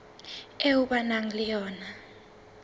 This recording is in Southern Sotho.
eo ba nang le yona